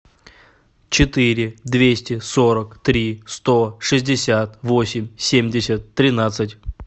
четыре двести сорок три сто шестьдесят восемь семьдесят тринадцать